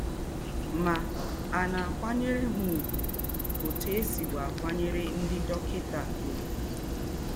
Mà, à ná-àkwányèrè ha ùgwù ótù è sìbu àkwányèrè ńdị́ dọ́kịtà ùgwù?